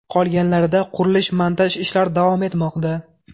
Qolganlarida qurilish-montaj ishlari davom etmoqda.